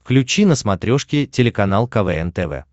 включи на смотрешке телеканал квн тв